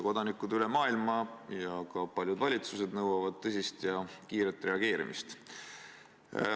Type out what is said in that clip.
Kodanikud üle maailma ja ka paljud valitsused nõuavad tõsist ja kiiret reageerimist.